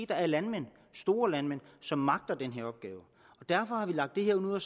der er landmænd store landmænd som magter den her opgave derfor har vi lagt det her ud og